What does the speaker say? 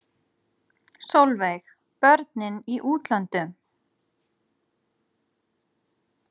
Sólveig: Börnin í útlöndum?